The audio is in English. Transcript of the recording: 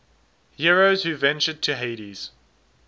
heroes who ventured to hades